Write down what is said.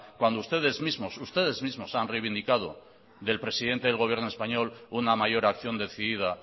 cuando ustedes mismos ustedes mismos han reivindicado del presidente del gobierno español una mayor acción decidida